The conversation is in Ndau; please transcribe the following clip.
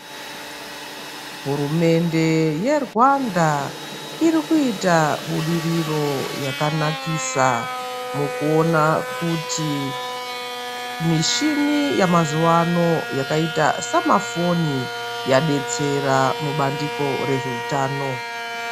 Hurumende yeRwanda irikuita budiriro yakanakisa mukuona kuti mishini yamazuvaano yakaita samafoni yadetsera mubandiko rezveutano.